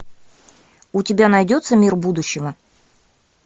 у тебя найдется мир будущего